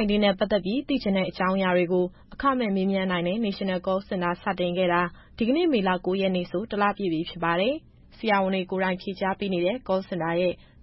-19 နဲ့ပတ်သက်ပြီး သိချင်တဲ့အကြောင်းအရာတွေကို အခမဲ့ မေးမြန်းနိုင်တဲ့ National Call Center စတင်ခဲ့တာ ဒီကနေ့ မေလ ၉ ရက်နေ့ဆို တလပြည့်ပြီ ဖြစ်ပါတယ်။ ဆရာဝန်တွေကိုယ်တိုင် ဖြေကြားပေးနေတဲ့ Call Center ကို ဆက်သွယ်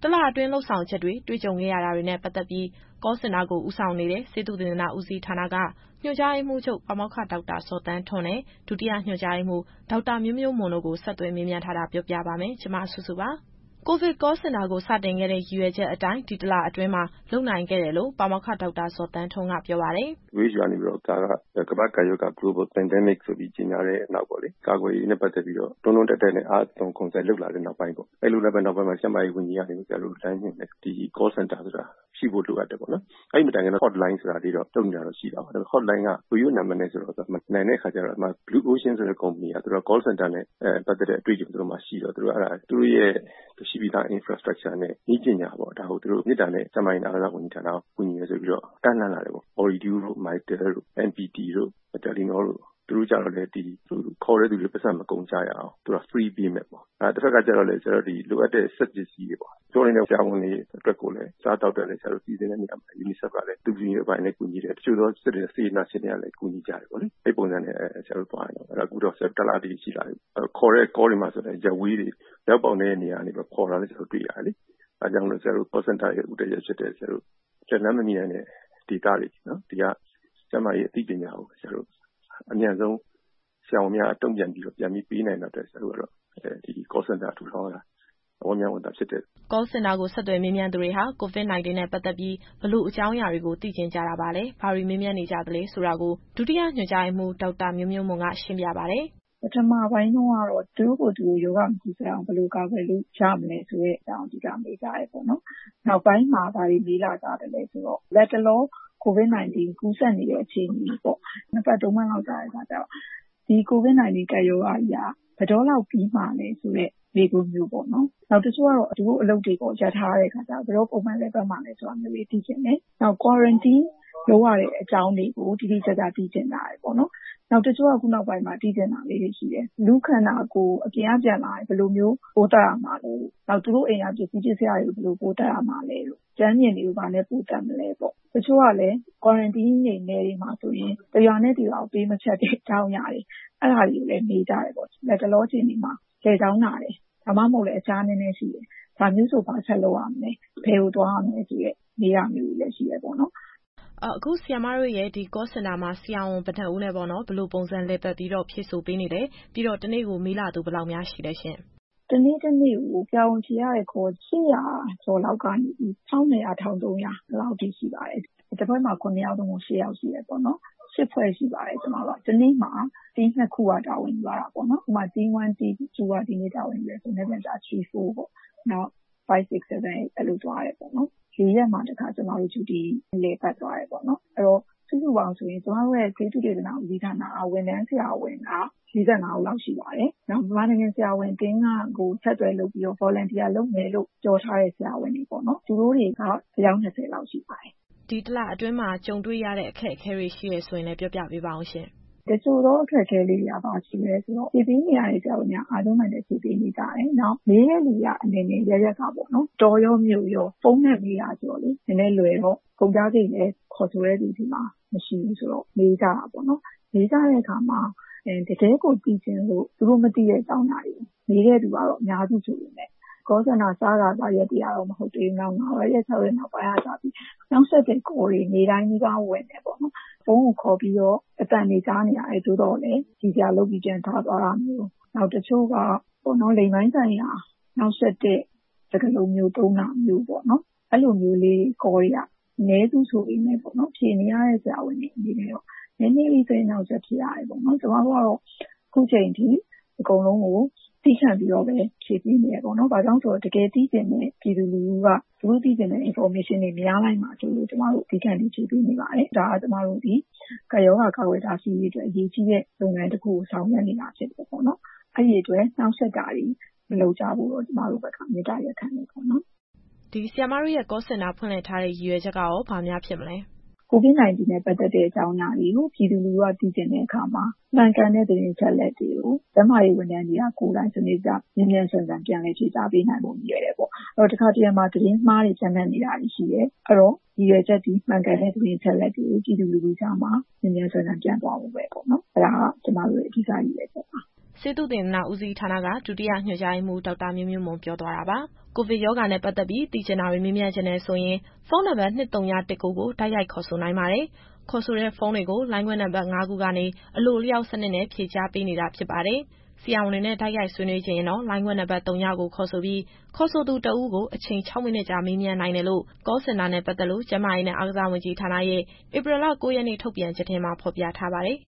သူတွေက ဘယ်လိုမေးခွန်းတွေများ မေးကြပါသလဲ၊ ဒီတလအတွင်း ဘာတွေ တွေ့ကြုံခဲ့ရပါသလဲ စတာတွေနဲ့ပတ်သက်ပြီး Call Center ကို ဦးဆောင်နေတဲ့ ဆေးသုတေသန ဦးစီးဌာနက ညွှန်ကြားရေးမှူးချုပ် ပါမောက္ခ ဒေါက်တာဇော်သန်းထွန်းနဲ့ ဒုတိယညွှန်ကြားရေးမှူး ဒေါက်တာမျိုးမျိုးမွန်တို့ကို ဗွီအိုအေသတင်းထောက် မစုစုက ဆက်သွယ်မေးမြန်းပြီး သတင်းပေးပို့ထားပါတယ်။ COVID Call Center ကို စတင်ခဲ့တဲ့ ရည်ရွယ်ချက်အတိုင်း ဒီတလအတွင်းမှာ လုပ်နိုင်ခဲ့တယ်လို့ ပါမောက္ခ ဒေါက်တာဇော်သန်းထွန်းက ပြောပါတယ်။ "WHO ကနေပြီးတော့ ဒါက ကမ္ဘာ့ကပ်ရောဂါဆိုပြီး ကြေညာတဲ့နောက်ပေါ့လေ။ ကာကွယ်ရေးနဲ့ ပတ်သက်ပြီးတော့ အားသွန်ခွန်စိုက် လုပ်လာတဲ့နောက်ပိုင်းမှာ ကျန်းမာရေးဝန်ကြီးကနေပြီးတော့ ဆရာတို့ကို လမ်းညွှန်တယ်။ ဒီ Call Center ဆိုတာ ရှိဖို့လိုအပ်တယ်ပေါ့နော်။ အဲဒါမတိုင်ခင်က Hotline ဆိုတာ လုပ်နေတာရှိတယ်။ ရိုးရိုး Hotline ဆိုတော့ မနိုင်တဲ့အခါမှာ Blue Ocean ကုမ္ပဏီက သူတို့က Call Center နဲ့ပတ်သက်တဲ့ အတွေ့အကြုံရှိတော့ သူတို့ရဲ့ ရှိပြီးသား Infrastructure နဲ့ နည်းပညာနဲ့ ဒါကို မေတ္တာနဲ့ ကျန်းမာရေးနဲ့ အားကစားဝန်ကြီးဌာနကို ကူညီမယ်ဆိုပြီး ကမ်းလှမ်းလာတယ်ပေါ့။ “Ooredoo၊ Mytel၊ MPT၊ Telenol သူတို့ကလည်း ခေါ်တဲ့သူတွေ ပိုက်ဆံမကုန်ရအောင် free ပေးမယ်ပေါ့။ တဖက်ကလည်း လိုအပ်တဲ့ စက်ပစ္စည်းတွေနဲ့ ပြောနေတဲ့ ဆရာဝန်တွေ အတွက်ကိုလည်း အစားအသောက်ကို UNICEF ကလည်း ကူညီတယ်။ တချို့သော စေတနာရှင်တွေကလည်း ကူညီကြတယ်ပေါ့လေ။ အဲပုံစံနဲ့သွားနေတာ အခု တလတိတိ ရှိလာပြီပေါ့။ ခေါ်တဲ့သူတွေကလည်း ရပ်ဝေးက အရောက်အပေါက်နည်းတဲ့ နေရာတွေက ခေါ်တာ တွေ့ရတယ်။ အဲဒါကြောင့် Call Center ရဲ့ ဦးတည်ချက်ဖြစ်တဲ့ လက်လှမ်းမမီနိုင်တဲ့ ဒေသတွေဆီ ကျန်းမာရေးအသိပညာကို အမြန်ဆုံး ဆရာဝန်များက တုံ့ပြန်ပြီးတော့ ဖြေပေးနိုင်တဲ့အတွက် ဆရာတို့ကတော့ Call Center ထူထောင်ရတာ ဝမ်းမြောက်ဝမ်းသာဖြစ်တယ်။" Call Center ကို ဆက်သွယ်မေးမြန်းသူတွေဟာ COVID-19 နဲ့ပတ်သက်ပြီး ဘယ်လိုအကြောင်းအရာတွေကို သိချင်ကြတာပါလဲ၊ ဘာတွေ မေးမြန်းကြသလဲဆိုတာ ဒုတိယညွှန်ကြားရေးမှူး ဒေါက်တာမျိုးမျိုးမွန်က ရှင်းပြပါတယ်။ "ပထမပိုင်းတုန်းကတော့ သူတို့ကိုယ်သူတို့ ရောဂါမကူးစက်အောင် ဘယ်လိုကာကွယ်လို့ရမလဲ ဆိုတဲ့အကြောင်းကို အဓိက မေးကြတယ်ပေါ့နော်။ နောက်ပိုင်းမှာ ဘာတွေမေးလာကြသလဲဆိုတော့ လတ်တလော COVID-19 ကူးစက်နေတဲ့ အခြေအနေပေါ့။ နှစ်ပတ်သုံးပတ်လောက် ကြာတဲ့အခါကျတော့ ဒီ COVID-19 ကပ်ရောဂါကြီးက ဘယ်တော့လောက်ပြီးမှာလဲဆိုတဲ့ မေးခွန်းမျိုးပေါ့နော်။ နောက် တချို့ကတော့ သူတို့အလုပ်တွေ ရပ်ထားတဲ့ အခါကျတော့ ဘယ်တော့လောက် ပုံမှန်လည်ပတ်မှာလဲ ဆိုတာမျိုးတွေ သိချင်တယ်။ နောက် Quarantine လုပ်ရတဲ့အကြောင်းတွေကို တိတိကျကျ သိချင်ကြတယ်ပေါ့နော်။ “နောက် တချို့ ခုနောက်ပိုင်းမှာ သိချင်တာလေးတွေက လူ့ခန္ဓာကိုယ် အပြင်က ပြန်လာတဲ့အခါ ဘယ်လိုမျိုး ပိုးသတ်ရမှာလဲတို့၊ နောက် သူတို့အိမ်က ပစ္စည်းပစ္စယတွေကို ဘယ်လိုပိုးသတ်ရမှာလဲတို့၊ ကြမ်းပြင်တွေကို ဘာနဲ့ ပိုးသတ်မလဲပေါ့။ တချို့ကလည်း Quarantine ကို နယ်တွေမှာဆိုရင် တရွာနဲ့တရွာကို ပေးမဖြတ်တဲ့ အကြောင်းအရာတွေ အဲဒါတွေကိုလည်း မေးကြတယ်ပေါ့။ လတ်တလောအခြေအနေမှာ လည်ချောင်းနာတယ်၊ ဒါမှမဟုတ်လည်း အဖျားနည်းနည်းရှိတယ်၊ ဒါမျိုးဆို ဘာဆက်လုပ်ရမလဲ၊ ဘယ်ကိုသွားရမလဲဆိုတဲ့ မေးတာမျိုးတွေလည်း ရှိတာပေါ့နော်။" စုစု - အခု ဆရာမတို့ရဲ့ Call Center မှာ ဆရာဝန်ဘယ်နှစ်ဦးနဲ့ ဘယ်လိုပုံစံ လည်ပတ်ပြီး ဖြေဆိုပေးနေလဲ။ ပြီးတော့ တနေ့ကို မေးလာသူ ဘယ်လောက်များရှိလဲ။ ဒေါက်တာမျိုးမျိုးမွန် - “တနေ့တနေ့ကို ဆရာဝန်ဖြေရတဲ့ Call ၈၀၀ ကျော်လောက်ကနေပြီး ၁,၂၀၀ - ၁,၃၀၀ အဲလောက်ထိရှိပါတယ်။ တဖွဲ့မှာ ၇ ယောက် သို့မဟုတ် ၈ ယောက်ရှိတယ်ပေါ့နော်။ ၈ ဖွဲ့ရှိပါတယ်။ တနေ့မှာ Team ၂ ခုက တာဝန်ယူရတာပေါ့နော်။ ဥပမာ Team 1, 2 က ဒီနေ့မှာ တာဝန်ယူတယ်ဆိုရင် မနက်ဖြန်ကျရင် 3, 4 ပေါ့။ နောက် 5, 6, 7, 8 အဲလိုသွားတယ်ပေါ့နော်။ လေးရက်မှာတခါ ကျမတို့ဂျူတီ လည်ပတ်သွားတယ်ပေါ့နော်။ အဲတော့ စုစုပေါင်းဆိုရင် ကျမတို့ ဆေးသုတေသန ဦးစီးဌာနက ဝန်ထမ်းဆရာဝန်က ၄၅ ဦးလောက်ရှိပါတယ်။ နောက် မြန်မာနိုင်ငံ ဆရာဝန်အသင်းကို အဆက်အသွယ်လုပ်ပြီး Volunteer လုပ်မယ်လို့ ပြောထားတဲ့ ဆရာဝန်တွေပေါ့နော်။ သူတို့တွေက အယောက် ၂၀ လောက်ရှိပါတယ်။” စုစု - ဒီတလအတွင်းမှာ ကြုံတွေ့ရတဲ့ အခက်အခဲတွေ ရှိတယ်ဆိုရင်လည်း ပြောပြပေးပါဦး။ ဒေါက်တာမျိုးမျိုးမွန် - တချို့သော အခက်အခဲတွေက ဘာရှိမလဲဆိုတော့ ဖြေပေးနေတဲ့ ဆရာဝန်တွေက အားကြိုးမာန်တက် ဖြေပေးနေကြတယ်။ မေးတဲ့သူတွေက အနယ်နယ်အရပ်ရပ်ကပေါ့နော်၊ တောရော မြို့ရော။ ဖုန်းနဲ့မေးတာဆိုတော့လေ နည်းနည်းလွယ်တော့ ကုန်ကျစရိတ်လည်း ခေါ်ဆိုတဲ့သူဆီမှာ မရှိဘူးဆိုတော့ မေးကြတာပေါ့နော်။ မေးကြတဲ့အခါမှာ တကယ့်ကိုသိချင်လို့ သူတို့မသိတဲ့ အကြောင်းအရာတွေကို မေးတဲ့သူကတော့ အများစုဆိုပေမယ့် Call Center စခါစရက်တွေက မဟုတ်သေးဘူး။ နောက် ၅ ရက် ၆ ရက်နောက်ပိုင်းကစပြီး နှောင့်ယှက်တဲ့ call တွေ နေ့တိုင်းနီးပါး ဝင်တယ်ပေါ့နော်။ ဖုန်းကိုခေါ်ပြီးတော့ အသံတွေကြားနေရတယ်။ သို့သော်လည်း ရယ်စရာလုပ်ပြီး ပြန်ချသွားတာမျိုး။ နောက် တချို့က လိင်ပိုင်းဆိုင်ရာ နှောင့်ယှက်တဲ့ စကားလုံး သုံးတာမျိုးပေါ့နော်။ အဲလို call တွေက အနည်းစုဆိုပေမယ့် ဖြေနေရတဲ့ ဆရာဝန်တွေ အနေနဲ့တော့ နည်းနည်းလေး စိတ်အနှောင့်အယှက် ဖြစ်ရတယ်ပေါ့နော်။ “ကျမတို့ကတော့ ခုချိန်ထိ အကုန်လုံးကို သည်းခံပြီးတော့ပဲ ဖြေပေးနေတယ်ပေါ့နော်။ ဘာကြောင့်လဲဆိုတော့ တကယ်သိချင်တဲ့ ပြည်သူလူထုက သူတို့သိချင်တဲ့ Information တွေ မရလိုက်မှာစိုးလို့ ကျမတို့ သည်းခံပြီး ဖြေပေးနေပါတယ်။ ဒါဟာ ကပ်ရောဂါ ကာကွယ်တားဆီးရေးအတွက် အရေးကြီးတဲ့ လုပ်ငန်းတခုကို ဆောင်ရွက်နေတာ ဖြစ်တယ်ပေါ့နော်။ အဲဒီအတွက် နှောင့်ယှက်တာတွေ မလုပ်ကြဖို့တော့ ကျမတို့ဘက်က မေတ္တာရပ်ခံချင်တာပေါ့နော်။” စုစု - ဆရာမတို့ Call Center ဖွင့်လှစ်ထားတဲ့ ရည်ရွယ်ချက်က ဘာများဖြစ်မလဲ။ ဒေါက်တာမျိုးမျိုးမွန် - “COVID-19 နဲ့ပတ်သက်တဲ့ အကြောင်းအရာတွေကို ပြည်သူလူထုက သိချင်တဲ့အခါမှာ မှန်ကန်တဲ့ သတင်းအချက်အလက်တွေကို ကျန်းမာရေးဝန်ထမ်းတွေ ကိုယ်တိုင် စနစ်တကျ မြန်မြန်ဆန်ဆန် ပြန်လည်ဖြေကြားပေးနိုင်ဖို့ ရည်ရွယ်တယ်ပေါ့။ အဲတော့ တခါတလေမှာ သတင်းအမှားတွေ ပျံ့နှံ့နေတာရှိတယ်။ အဲတော့ ရည်ရွယ်ချက်သည် မှန်ကန်တဲ့ သတင်းအချက်အလက်တွေကို ပြည်သူလူထုကြားမှာ မြန်မြန်ဆန်ဆန် ပြန့်သွားဖို့ပဲနော်။ အဲဒါက ကျမတို့ရဲ့ အဓိကရည်ရွယ်ချက်ပါ။” ဆေးသုတေသန ဦးစီးဌာနက ဒုတိယညွှန်ကြားရေးမှူး ဒေါက်တာမျိုးမျိုးမွန် ပြောသွားတာပါ။ ကိုဗစ်ရောဂါနဲ့ပတ်သက်ပြီး သိချင်တာတွေ မေးမြန်းချင်တယ်ဆိုရင် ဖုန်းနံပါတ် ၂၀၁၉ ကို တိုက်ရိုက်ခေါ်ဆိုနိုင်ပါတယ်။ ခေါ်ဆိုတဲ့ဖုန်းတွေကို လိုင်းခွဲနံပါတ် ၅ ခုကနေ အလိုအလျောက်စနစ်နဲ့ ဖြေကြားပေးနေတာ ဖြစ်ပါတယ်။ ဆရာဝန်တွေနဲ့ တိုက်ရိုက်ဆွေးနွေးချင်ရင်တော့ လိုင်းခွဲနံပါတ် သုညကို ခေါ်ဆိုပြီး ခေါ်ဆိုသူတဦးကို အချိန် ၆ မိနစ်ကြာ မေးမြန်းနိုင်တယ်လို့ Call Center နဲ့ပတ်သက်လို့ ကျန်းမာရေးနဲ့ အားကစားဝန်ကြီးဌာနရဲ့ ဧပြီလ ၉ ရက်နေ့ ထုတ်ပြန်ချက်ထဲမှာ ဖော်ပြထားပါတယ်